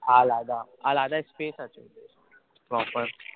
আলাদা আলাদা space আছে proper